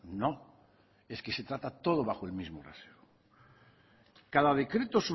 no es que se trata todo bajo el mismo rasero cada decreto